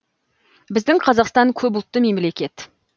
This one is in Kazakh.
біздің қазақстан көп ұлтты мемлекет